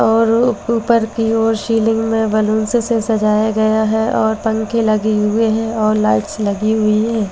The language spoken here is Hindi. और ऊपर की ओर सीलिंग में बैलून से सजाय गया है और पंखे लगे हुए हैं और लाइट्स लगी हुई है।